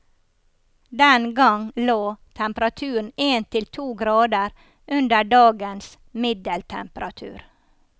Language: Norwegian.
Den gang lå temperaturen en til to grader under dagens middeltemperatur.